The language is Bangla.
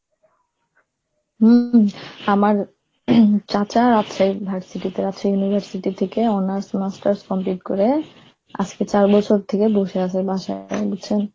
হম আমার চাচা আছে, versity তে আছে, university থেকে honors, masters complete করে আজকে চার বছর থেকে বসে আছে বাসায়